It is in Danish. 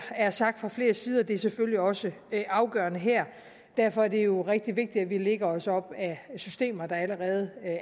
er sagt fra flere sider og det er selvfølgelig også afgørende her derfor er det jo rigtig vigtigt at vi lægger os op ad systemer der allerede